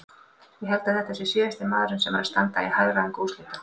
Ég held að þetta sé síðasti maðurinn sem er að standa í hagræðingu úrslita.